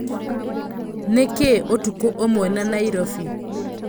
nĩ kĩĩ ũtukũ ũmwe na Nairobi